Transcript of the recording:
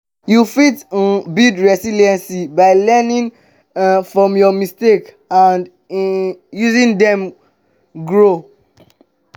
you fit um build resilience by learning um from your mistakes and um using dem grow.